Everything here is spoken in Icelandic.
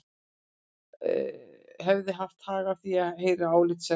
Hefði haft hag að því að heyra álit sérfræðinga.